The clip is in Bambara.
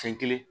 Fɛn kelen